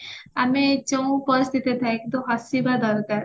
ଆମେ ଯୋଉଁ ପରିସ୍ଥିତି ଥାଉ କିନ୍ତୁ ହସିବା ଦରକାର